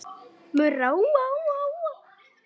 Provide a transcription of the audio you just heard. Murra úa, úa, úa.